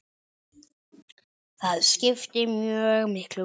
Það skipti mjög miklu máli.